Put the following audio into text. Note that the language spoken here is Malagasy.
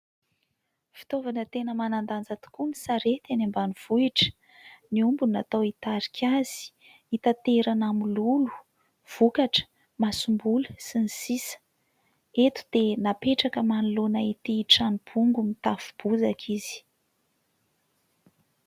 Fitaovana tena manan-danja tokoa ny sarety any ambanivohitra. Ny omby no natao hitarika azy. Hitaterana mololo, vokatra, masom-boly sy ny sisa. Eto dia napetraka manoloana ity trano bongo mitafo bozaka izy.